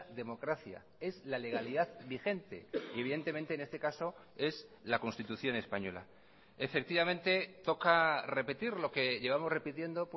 democracia es la legalidad vigente y evidentemente en este caso es la constitución española efectivamente toca repetir lo que llevamos repitiendo